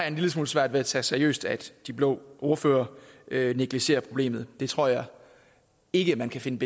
en lille smule svært ved at tage seriøst at de blå ordførere negligerer problemet det tror jeg ikke man kan finde